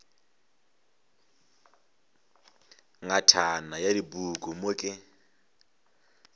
ngatana ya dipuku mo ke